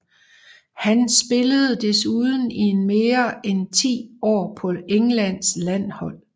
Han spillede desuden i mere end ti år på Englands landshold